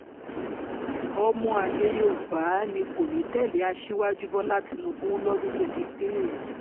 ọmọ àlè yorùbá ni kò ní í tẹ̀lé aṣíwájú bọ́lá tìǹbù lọ́dún twenty three